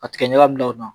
A tigɛ ɲaga min na